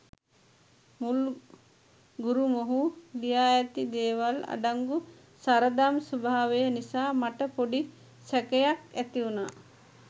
මුල් ගුරුමොහු ලියා ඇති දේවල අඩංගු සරදම් ස්වභාවය නිසා මට පොඩි සැකයක් ඇතිවුණා.